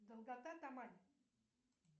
долгота тамань